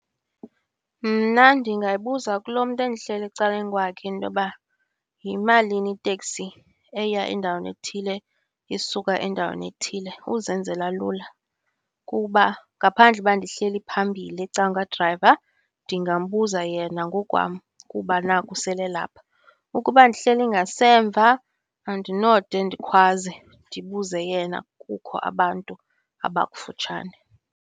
Mna ndingayibuza kulo mntu endihleli ecaleni kwakhe into yoba yimalini iteksi eya endaweni ethile isuka endaweni ethile, uzenzela lula. Kuba ngaphandle uba ndihleli phambili ecakwadrayiva ndingambuza yena ngokwam kuba naku sele elapha. Ukuba ndihleli ngasemva andinode ndikhwaze ndibuze yena kukho abantu abakufutshane.